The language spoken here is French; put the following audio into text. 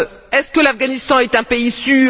Est ce que l'Afghanistan est un pays sûr?